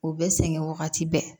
U bɛ sɛgɛn wagati bɛɛ